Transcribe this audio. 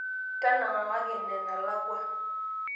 tanangakaki ina enalakua